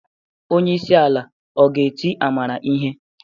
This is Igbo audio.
Onye isi ala ọ ga-eti Amara ihe?